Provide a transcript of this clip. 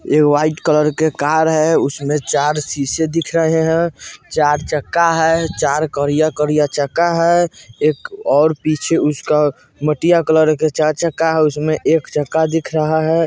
एक white colour की car है उसमे चार शीशे दिख रहे हैं चार चक्का हैं चार करिया करिया चक्का हैं एक और पीछे उसका मटिया कलर का चार चक्का हैं उसमे एक चक्का दिख रहा है।